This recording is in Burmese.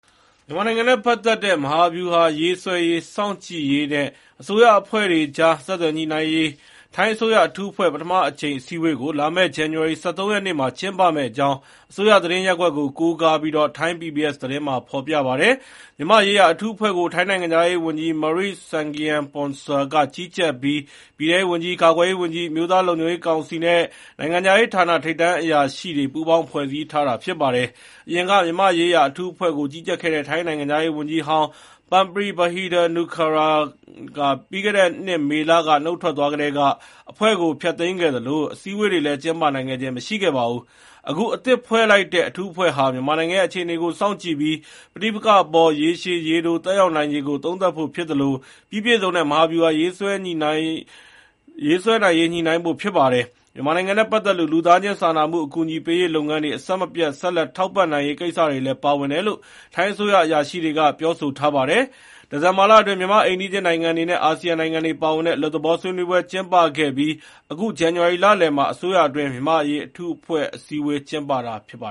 မြန်မာနိုင်ငံနဲ့ ပတ်သက်တဲ့ မဟာဗျူဟာရေးဆွဲရေး၊ စောင့်ကြည့်ရေးနဲ့ အစိုးရအဖွဲ့တွေကြား ဆက်သွယ်ညှိနှိုင်းရေး ထိုင်းအစိုးရ အထူးအဖွဲ့ ပထမအကြိမ်အစည်းအဝေးကို လာမယ့် ဇန္နဝါရီလ ၁၃ ရက်နေ့ ကျင်းပမယ့်အကြောင်း အစိုးရသတင်းရပ်ကွက်ကို ကိုးကားပြီး ထိုင်း PBS သတင်းမှာ ဖေါ်ပြပါတယ်။ မြန်မာ့ရေးရာအထူးအဖွဲ့ကို ထိုင်း နိုင်ငံခြားရေးဝန်ကြီး Maris Sagiampongsa က ကြီးကြပ်ပြီး ပြည်ထဲရေး ဝန်ကြီး၊ ကာကွယ်ရေးဝန်ကြီး၊ အမျိုးသားလုံခြုံရေးကောင်စီနဲ့ နိုင်ငံခြားရေးဌာန ထိပ်တန်းအရာရှိတွေ ပူးပေါင်း ဖွဲ့စည်းထားတာ ဖြစ်ပါတယ်။ အရင်က မြန်မာ့ရေးရာ အထူးအဖွဲ့ကို ကြီးကြပ်ခဲ့တဲ့ ထိုင်းနိုင်ငံခြားရေးဝန်ကြီးဟောင်း Parnpree Bahiddha-Nukara ပြီးခဲ့တဲ့နှစ်မေလ နုတ်ထွက်သွားကတည်းက အဖွဲ့ကို ဖျက်သိမ်းခဲ့သလို အစည်းအဝေးတွေလည်း ကျင်းပနိုင်ခဲ့ခြင်း မရှိပါဘူး။ အခု အသစ်ဖွဲ့စည်းလိုက်တဲ့ အထူးအဖွဲ့ဟာ မြန်မာနိုင်ငံရဲ့ အခြေအနေကို စောင့်ကြည့်ပြီး ပဋိပက္ခအပေါ် ရေရှည် ရေတို သက်ရောက်နိုင်ခြေကို သုံးသပ်ဖို့ ဖြစ်သလို ပြီးပြည့်စုံတဲ့ မဟာဗျူဟာ ရေးဆွဲနိုင်ရေး ညှိနှိုင်းဖို့ ဖြစ်ပါတယ်။ မြန်မာနိုင်ငံနဲ့ ပတ်သက်လို့ လူသားချင်း စာနာမှု အကူအညီပေးရေးလုပ်ငန်းတွေ အဆက်မပြတ် ဆက်လက် ထောက်ပံ့နိုင်ရေး ကိစ္စတွေလည်း ပါဝင်တယ်လို့ ထိုင်းအစိုးရအရာရှိတွေက ပြောထားပါတယ်။ ဒီဇင်ဘာလအတွင်း မြန်မာ့အိမ်နီးချင်းနိုင်ငံတွေနဲ့ အာဆီယံနိုင်ငံတွေပါဝင်တဲ့ အလွတ်သဘော ဆွေးနွေးပွဲ ကျင်းပခဲ့ပြီး အခု ဇန္နဝါရီလလယ်မှာ အစိုးရအတွင်း မြန်မာ့အရေးအထူးအဖွဲ့ အစည်းအဝေး ကျင်းပတာပါ